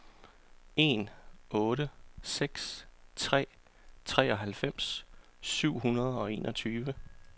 en otte seks tre treoghalvfems syv hundrede og enogtyve